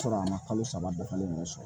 Sɔrɔ a ma kalo saba bɛɛ falen ɲɔgɔn sɔrɔ